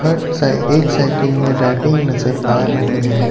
एक साइकिल में रैपिंग नजर आ रही है।